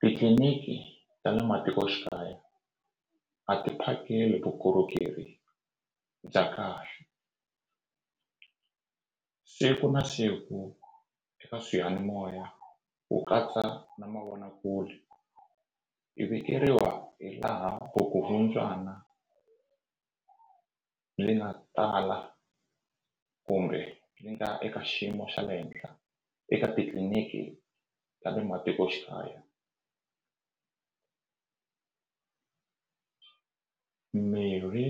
Titliliniki ta le matikoxikaya a ti phakeli vukorhokeri bya kahle siku na siku eka swiyanimoya ku katsa na mavonakule hi vikeriwa hi laha vukungundzwana byi nga tala kumbe nga eka xiyimo xa le henhla eka titliliniki ta le matikoxikaya mirhi